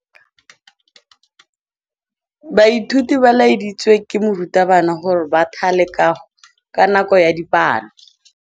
Baithuti ba laeditswe ke morutabana gore ba thale kagô ka nako ya dipalô.